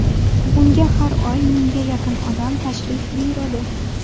Unga har oy mingga yaqin odam tashrif buyuradi.